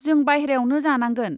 जों बायह्रायावनो जानांगोन।